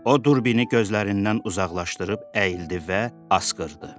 O durbini gözlərindən uzaqlaşdırıb əyildi və asqırdı.